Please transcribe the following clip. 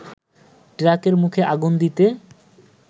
ট্রাকের মুখে আগুন দিতে